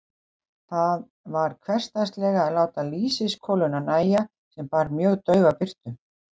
Þar varð hversdagslega að láta lýsiskoluna nægja, sem bar mjög daufa birtu.